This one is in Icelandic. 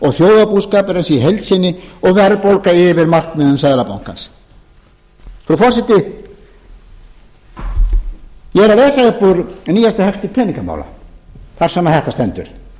og þjóðarbúskapurinn í heild sinni og verðbólga yfir markmiðum seðlabankans frú forseti ég er að lesa upp úr nýjasta hefti peningamála þar sem þetta stendur